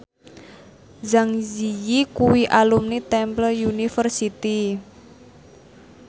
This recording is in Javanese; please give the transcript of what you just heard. Zang Zi Yi kuwi alumni Temple University